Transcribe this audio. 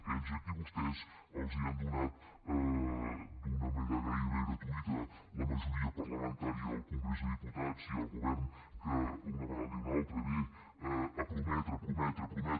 aquells a qui vostès els han donat d’una manera gairebé gratuïta la majoria parlamentària al congrés dels diputats i al govern que una vegada i una altra venen a prometre a prometre a prometre